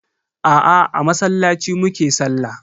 Aa, a masallaci mu ke sallah.